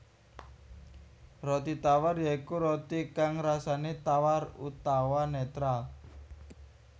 Roti tawar ya iku roti kang rasané tawar utawa netral